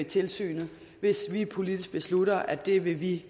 tilsynet hvis vi politisk beslutter at det vil vi